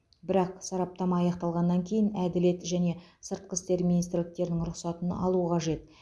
бірақ сараптама аяқталғаннан кейін әділет және сыртқы істер министрліктерінің рұқсатын алу қажет